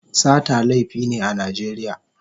Sata laifi ne a Najeriya.